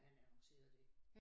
At han annoncerede det